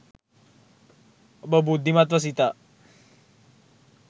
ඔබ බුද්ධිමත්ව සිතා